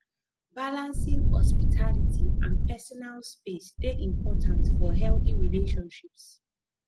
balancing hospitality and personal space dey important for healthy relationships